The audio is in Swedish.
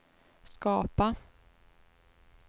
skapa